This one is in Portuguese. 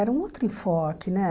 Era um outro enfoque, né?